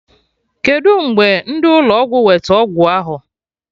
Kedụ mgbe ndị ụlọ ọgwụ wete ọgwụ ahụ?